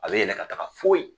A be yɛlɛ ka taga foyi